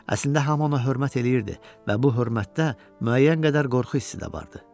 Əslində hamı ona hörmət eləyirdi və bu hörmətdə müəyyən qədər qorxu hissi də vardı.